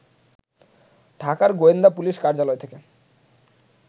ঢাকার গোয়েন্দা পুলিশ কার্যালয় থেকে